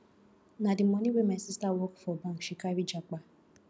na di moni wey my sista work for bank she carry japa